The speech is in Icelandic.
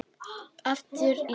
Aftur Ísland.